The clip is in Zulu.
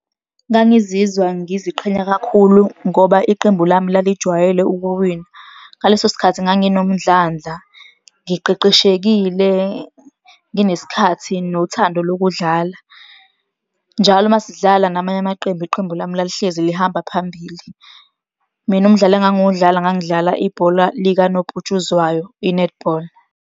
Ngangizizwa ngiziqhenya kakhulu ngoba iqembu lami lalijwayele ukuwina. Ngaleso sikhathi nganginomdlandla, ngiqeqeshekile, nginesikhathi, nothathando lokudlala. Njalo uma sidlala namanye amaqembu, iqembu lami lalihlezi lihamba phambili. Mina umdlalo engangiwudlala ngangidlala ibhola likanobhutshuzwayo, i-netball.